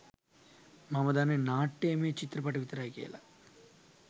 මම දෙන්නෙ නාට්‍යමය චිත්‍රපට විතරයි කියලා.